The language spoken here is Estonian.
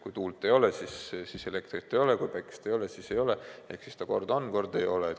Kui tuult ei ole, siis elektrit ei ole, kui päikest ei ole, ka siis elektrit ei ole, ehk kord teda on, kord ei ole.